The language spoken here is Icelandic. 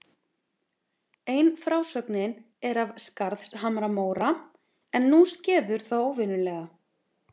Ein frásögnin er af Skarðshamra-Móra: En nú skeður það óvenjulega.